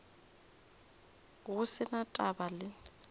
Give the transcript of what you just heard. go se na taba le